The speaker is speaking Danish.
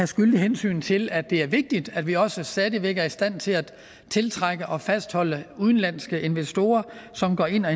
skyldigt hensyn til at det er vigtigt at vi også stadig væk er i stand til at tiltrække og fastholde udenlandske investorer som går ind og